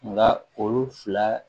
Nka olu fila